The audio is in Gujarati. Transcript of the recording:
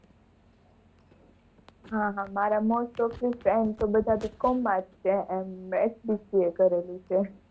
હા હા, મારા most of friends તો બધા B. com. માં જ છે, એમ મેં BCA કરેલું છે.